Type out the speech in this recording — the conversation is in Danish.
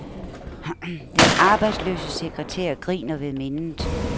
Den arbejdsløse sekretær griner ved mindet.